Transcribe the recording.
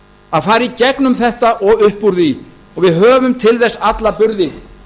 að fara í gegnum þetta og upp úr því og við höfum til þess alla burði